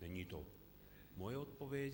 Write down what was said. Není to moje odpověď.